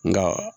Nka